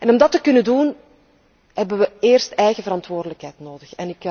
Om dat te kunnen doen hebben wij eerst eigen verantwoordelijkheid nodig.